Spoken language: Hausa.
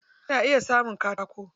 A na iya samun katako.